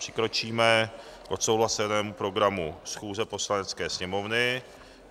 Přikročíme k odsouhlasenému programu schůze Poslanecké sněmovny.